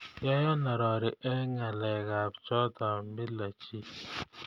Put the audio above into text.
Yayan arori eng ngalekab choto mile chii